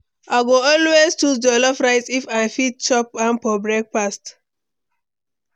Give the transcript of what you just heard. I go always choose jollof rice if I fit chop am for breakfast.